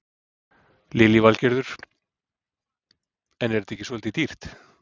Lillý Valgerður: En er þetta ekki svolítið dýrt?